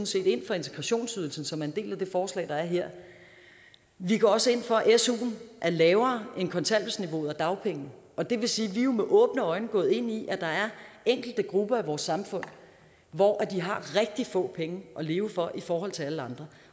set ind for integrationsydelsen som er en del af det forslag der er her vi går også ind for at suen er lavere end kontanthjælpsniveauet og dagpengene og det vil sige jo med åbne øjne er gået ind i at der er enkelte grupper i vores samfund hvor de har rigtig få penge at leve for i forhold til alle andre